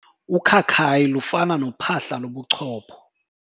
Ukhakayi lufana nophahla lobuchopho.